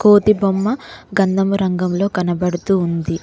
కోతి బొమ్మ గంధము రంగంలో కనబడుతూ ఉంది.